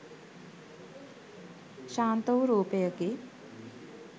ශාන්ත වූ රූපයකි